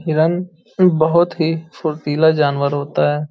हिरण बोहोत ही फुर्तीला जानवर होता है।